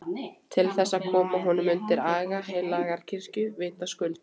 Til þess að koma honum undir aga heilagrar kirkju, vitaskuld!